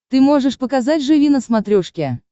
ты можешь показать живи на смотрешке